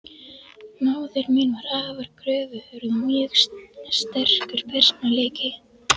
Móðir mín var afar kröfuhörð, og mjög sterkur persónuleiki.